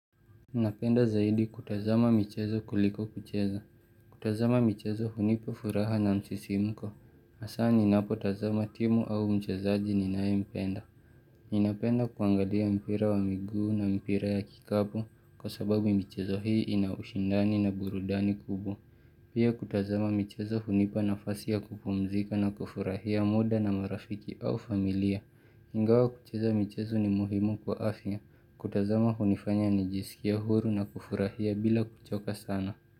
Napenda zaidi kutazama michezo kuliko kucheza. Kutazama michezo hunipa furaha na msisimuko. Hasaa ninapo tazama timu au mchezaji ninaye mpenda. Ninapenda kuangalia mpira wa miguu na mpira ya kikapu kwa sababu michezo hii ina ushindani na burudani kubwa. Pia kutazama michezo hunipa nafasi ya kupumzika na kufurahia muda na marafiki au familia. Ingawa kucheza michezo ni muhimu kwa afya. Kutazama hunifanya nijisikia huru na kufurahia bila kuchoka sana.